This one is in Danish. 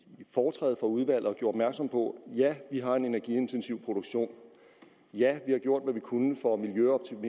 foretræde for udvalget og gjorde opmærksom på ja vi har en energiintensiv produktion og ja vi har gjort hvad vi kunne for at miljøoptimere